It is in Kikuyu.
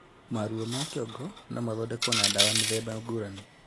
Maruo ma kĩongo nomathondekwo na ndawa mĩthemba ngũrani